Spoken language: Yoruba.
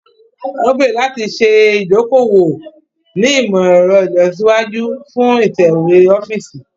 Wọn gbèrò láti ṣe idoko-owo ni imọ-ẹrọ ilọsiwaju fún itẹwe ọfiisi.